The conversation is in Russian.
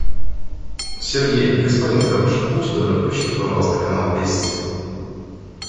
сергей господин хороший будьте добры включите пожалуйста канал вести